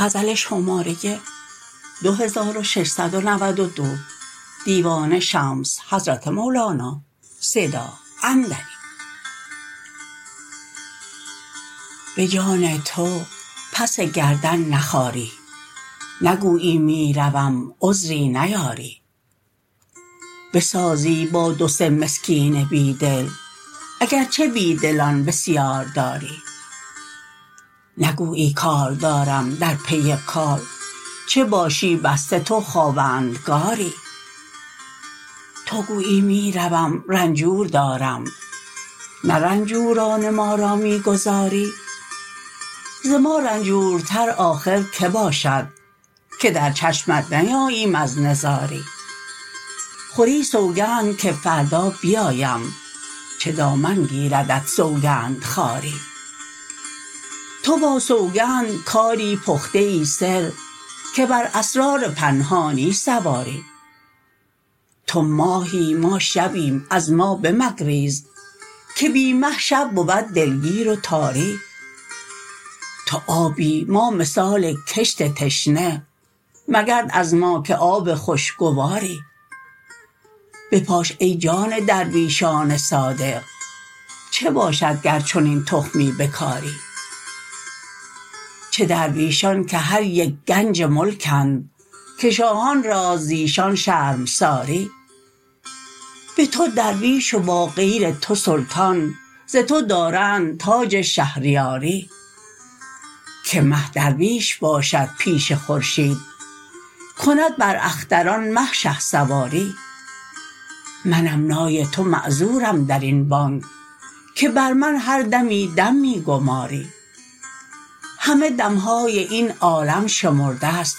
به جان تو پس گردن نخاری نگویی می روم عذری نیاری بسازی با دو سه مسکین بی دل اگر چه بی دلان بسیار داری نگویی کار دارم در پی کار چه باشی بسته تو خاوندگاری تو گویی می روم رنجور دارم نه رنجوران ما را می گذاری ز ما رنجورتر آخر کی باشد که در چشمت نیاییم از نزاری خوری سوگند که فردا بیایم چه دامن گیردت سوگند خواری تو با سوگند کاری پخته ای سر که بر اسرار پنهانی سواری تو ماهی ما شبیم از ما بمگریز که بی مه شب بود دلگیر و تاری تو آبی ما مثال کشت تشنه مگرد از ما که آب خوشگواری بپاش ای جان درویشان صادق چه باشد گر چنین تخمی بکاری چه درویشان که هر یک گنج ملکند که شاهان راست ز ایشان شرمساری به تو درویش و با غیر تو سلطان ز تو دارند تاج شهریاری که مه درویش باشد پیش خورشید کند بر اختران مه شهسواری منم نای تو معذورم در این بانگ که بر من هر دمی دم می گماری همه دم های این عالم شمرده ست